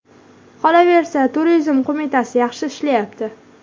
Qolaversa... Turizm qo‘mitasi yaxshi ishlayapti.